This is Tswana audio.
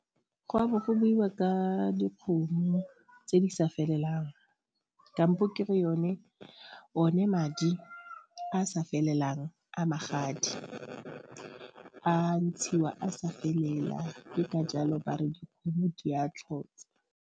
Go a bo ko buiwa ka dikgomo tse di sa felelang kampo kere one madi a a sa felelang a magadi a ntshiwa a sa felela ke ka jalo ba re dikgomo di a tlhotsa.